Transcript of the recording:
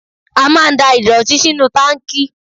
A máa ń da ìdọ̀tí sínú táǹkì.